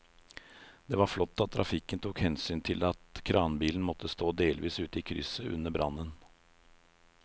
Det var flott at trafikken tok hensyn til at kranbilen måtte stå delvis ute i krysset under brannen.